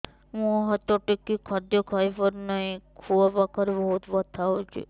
ମୁ ହାତ ଟେକି ଖାଦ୍ୟ ଖାଇପାରୁନାହିଁ ଖୁଆ ପାଖରେ ବହୁତ ବଥା ହଉଚି